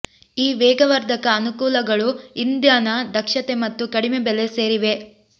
ಈ ವೇಗವರ್ಧಕ ಅನುಕೂಲಗಳು ಇಂಧನ ದಕ್ಷತೆ ಮತ್ತು ಕಡಿಮೆ ಬೆಲೆ ಸೇರಿವೆ